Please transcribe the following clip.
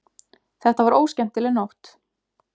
Þetta var óskemmtileg nótt.